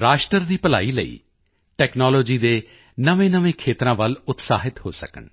ਰਾਸ਼ਟਰ ਦੀ ਭਲਾਈ ਲਈ ਟੈਕਨਾਲੋਜੀ ਦੇ ਨਵੇਂਨਵੇਂ ਖੇਤਰਾਂ ਵੱਲ ਉਤਸ਼ਾਹਿਤ ਹੋ ਸਕਣ